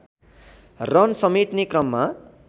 run समेट्ने क्रममा